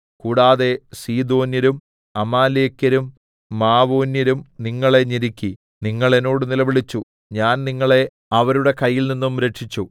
കൂടാതെ സീദോന്യരും അമാലേക്യരും മാവോന്യരും നിങ്ങളെ ഞെരുക്കി നിങ്ങൾ എന്നോട് നിലവിളിച്ചു ഞാൻ നിങ്ങളെ അവരുടെ കയ്യിൽനിന്നും രക്ഷിച്ചു